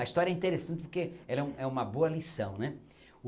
A história é interessante porque ela é um uma boa lição né.